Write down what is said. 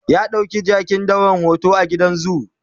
ya ɗauki jakin dawan hoto a gidan zoo